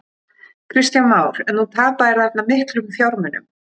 Kristján Már: En þú tapaðir þarna miklum fjármunum?